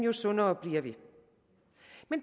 jo sundere bliver vi